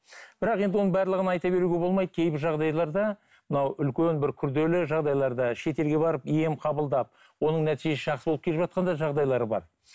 бірақ енді оның барлығын айта беруге болмайды кейбір жағдайларда мынау үлкен бір күрделі жағдайларда шетелге барып ем қабылдап оның нәтижесі жақсы болып келіп жатқан да жағдайлар бар